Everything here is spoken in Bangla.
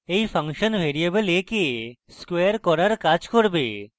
এই ফাংশন ভ্যারিয়েবল a কে স্কোয়ার করার কাজ করবে